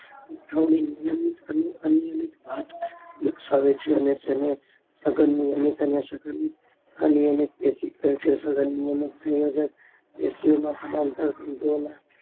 ગોઠવણી નિયમિત અને અનિયમિત ભાત દર્શાવે છે અને સઘન નિયમિત અને સઘન અનિયમિત પેસી કહે છે સઘન નિયમિત સંયોજક પેશીઓમાં સમાંતર તૂટવામાં